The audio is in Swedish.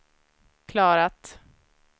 klarat